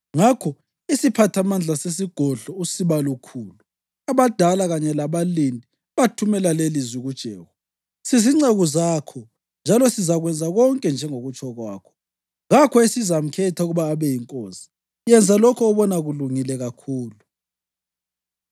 Ngakho isiphathamandla sesigodlo, usibalukhulu, abadala kanye labalindi bathumela lelilizwi kuJehu, “Sizinceku zakho, njalo sizakwenza konke njengokutsho kwakho. Kakho esizamkhetha ukuba abe yinkosi; yenza lokho obona kulungile kakhulu.”